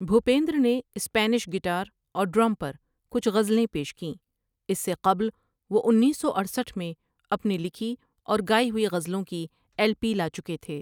بھُوپینْدْر نے Spanish guitar اَور drum پر کُچھ غزلیں پیش کِیں اِس سے قبل وہ انیس سو اٹھسٹھ میں اپنی لِکھی اَور گائی ہوئی غزلوں کی ایلپی لا چُکے تھے ۔